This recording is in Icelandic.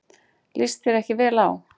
Líst þér ekki vel á.